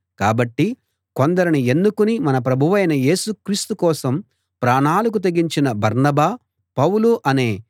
కాబట్టి కొందరిని ఎన్నుకుని మన ప్రభువైన యేసు క్రీస్తు కోసం ప్రాణాలకు తెగించిన బర్నబా పౌలు అనే